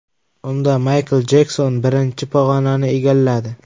Unda Maykl Jekson birinchi pog‘onani egalladi.